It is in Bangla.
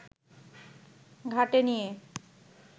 ঘাটে নিয়ে